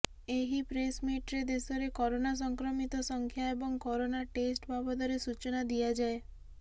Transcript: ଏହି ପ୍ରେସମିଟରେ ଦେଶରେ କରୋନା ସଂକ୍ରମିତଙ୍କ ସଂଖ୍ୟା ଏବଂ କରୋନା ଟେଷ୍ଟ ବାବଦରେ ସୂଚନା ଦିଆଯାଏ